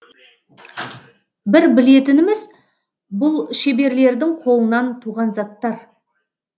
бір білетініміз бұл шеберлердің қолынан туған заттар